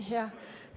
Jaa, oli.